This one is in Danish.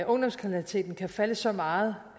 ungdomskriminaliteten kan falde så meget